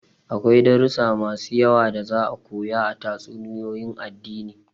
Akwai darussa masu yawa da za'a koya a tatsuniyoyin addini.